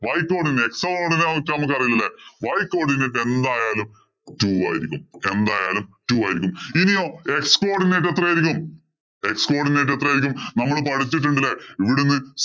y codinate x codinate ഇനെ കുറിച്ച് നമക്ക് അറിയില്ലല്ലേ. Y codinate എന്തായാലും two ആയിരിക്കും. ഇനിയോ x codinate എത്രയായിരിക്കും? x codinate എത്രയായിരിക്കും? നമ്മള് പഠിച്ചിട്ടുണ്ട് ഇല്ലേ? ഇവിടുന്ന്‍